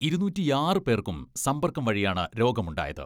ഇരുനൂറ്റിയാറ് പേർക്കും സമ്പർക്കം വഴിയാണ് രോഗമുണ്ടായത്.